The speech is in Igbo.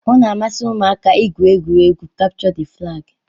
Ọ na-amasị ụmụaka igwu egwuregwu kapchọ d flagi